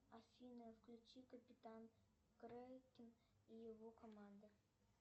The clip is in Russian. афина включи капитан крекен и его команда